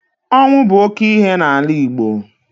Ọnwụ bụ oke ihe n'ala Igbo.